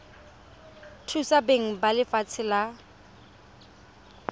thusa beng ba lefatshe la